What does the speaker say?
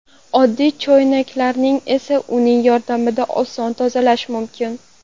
Oddiy choynaklarni esa uning yordamida oson tozalash mumkin.